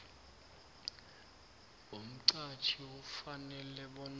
umqhatjhi ufanele bona